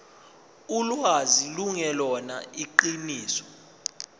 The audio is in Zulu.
ulwazi lungelona iqiniso